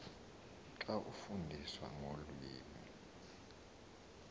xa efundiswa ngolwimi